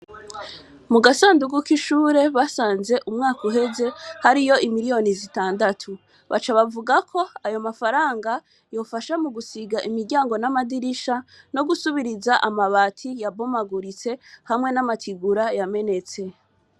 Mu gasandugu k'ishure basanze umwaka uheze hariyo imiriyoni zitandatu. Baca bavuga ko ayo mafaranga yofasha mu gusiga imiryango n'amadirisha, no gusubiriza amabati yabomaguritse hamwe n'amategura yamenetse.